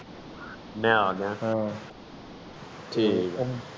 ਮੈਂ ਆਗਯਾ ਠੀਕ ਆ